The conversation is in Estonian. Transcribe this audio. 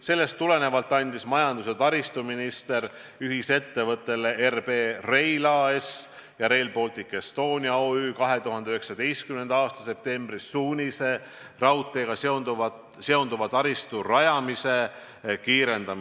Sellest tulenevalt andis majandus- ja taristuminister ühisettevõttele RB Rail AS ja Rail Baltic Estonia OÜ-le 2019. aasta septembris suunise raudteega seonduva taristu rajamist kiirendada.